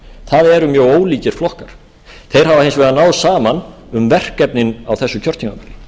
það eru mjög ólíkir flokkar þeir hafa hins vegar náð saman um verkefnin á þessu kjörtímabili